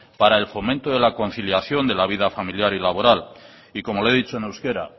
para el fomento de la conciliación de la vida familiar y laboral y como le he dicho en euskera